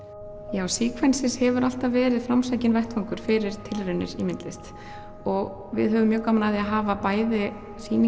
já hefur alltaf verið framsækinn vettvangur fyrir tilraunir í myndlist og við höfum mjög gaman af því að hafa bæði